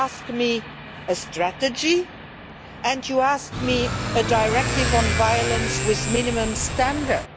You asked me for a strategy and you asked me for a directive on violence with minimum standards.